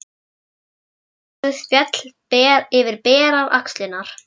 Sítt hárið féll yfir berar axlirnar.